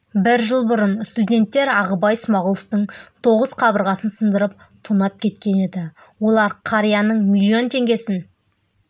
бір жыл бұрын студенттер ағыбай смағұловтың тоғыз қабырғасын сындырып тонап кеткен еді олар қарияның миллион теңгесін